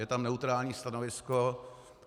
Je tam neutrální stanovisko.